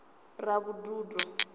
ravhududo